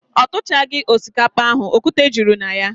O tuchaghi osikapa ahu, okwute juru na ya.